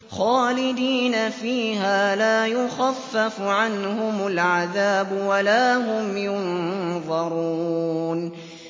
خَالِدِينَ فِيهَا ۖ لَا يُخَفَّفُ عَنْهُمُ الْعَذَابُ وَلَا هُمْ يُنظَرُونَ